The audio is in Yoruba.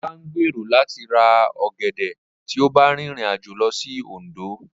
Ọlá ń gbèrò láti ra ọ̀gẹ̀dẹ̀ tí ó bá rìnrìn àjò lọ sí Òndó